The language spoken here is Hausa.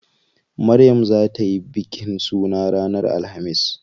Maryam zaa tayi bikin suna ranar alhamis.